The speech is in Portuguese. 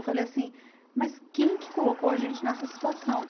Eu falei assim, mas quem que colocou a gente nessa situação?